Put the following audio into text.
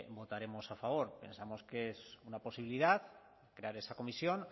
votaremos a favor pensamos que es una posibilidad crear esa comisión